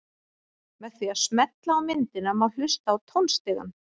Með því að smella á myndina má hlusta á tónstigann.